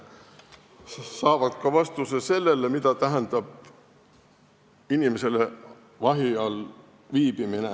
Nad saavad vastuse ka sellele, mida tähendab inimesele vahi all viibimine.